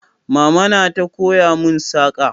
Mama na ta koya mun saƙa